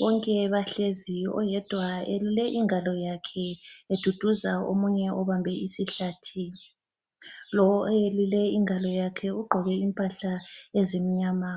bonke bahlezi oyedwa elule ingalo yakhe eduduza omunye obambe isihlathi ,lo oyelule ingalo yakhe ugqoke impahla ezimnyama